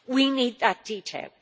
We need that detail.